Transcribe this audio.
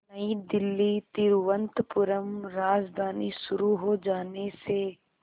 नई दिल्ली तिरुवनंतपुरम राजधानी शुरू हो जाने से